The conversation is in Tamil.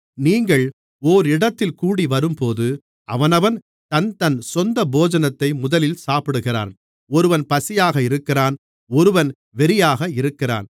நீங்கள் ஓரிடத்தில் கூடிவரும்போது அவனவன் தன்தன் சொந்த போஜனத்தை முதலில் சாப்பிடுகிறான் ஒருவன் பசியாக இருக்கிறான் ஒருவன் வெறியாக இருக்கிறான்